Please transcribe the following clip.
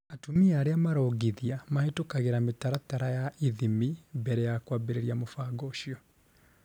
atumia aria marongithia mahetukagĩra mitaratara ya ithimi mbere ya kwambĩriria mũbango ũcio